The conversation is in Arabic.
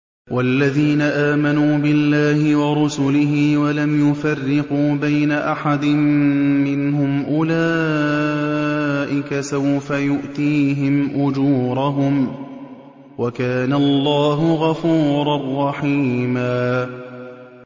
وَالَّذِينَ آمَنُوا بِاللَّهِ وَرُسُلِهِ وَلَمْ يُفَرِّقُوا بَيْنَ أَحَدٍ مِّنْهُمْ أُولَٰئِكَ سَوْفَ يُؤْتِيهِمْ أُجُورَهُمْ ۗ وَكَانَ اللَّهُ غَفُورًا رَّحِيمًا